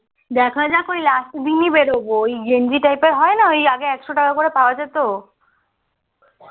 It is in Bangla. দেখা যাক ওই রাত করেই বেরোবো ওই গেঞ্জি type এর হয় না আগে একশো টাকা করে পাওয়া যেত